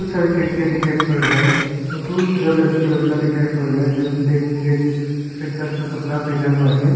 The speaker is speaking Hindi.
सारे खिड़कियां दिखाई पड़ रहा है और बहुत सारा लड़की लड़का दिखाई पड़ रहा है जो ब्लैक रेड सफेद कलर का कपड़ा पहना हुआ है।